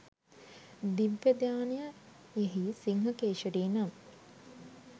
'දිව්‍යදානය' යෙහි සිංහ කේශරී නම්